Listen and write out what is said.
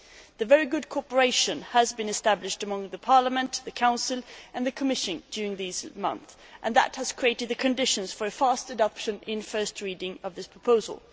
A very good cooperation has been established between Parliament, the Council and the Commission during these months, and that has created the conditions for a fast adoption in first reading of this proposal.